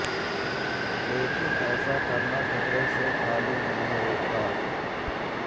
लेकिन ऐसा करना खतरे से खाली नहीं होता